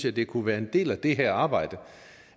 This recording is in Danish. at det kunne være en del af det her arbejde